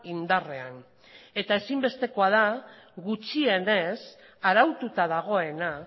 indarrean eta ezinbestekoa da gutxienez araututa dagoena